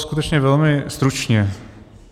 Skutečně velmi stručně.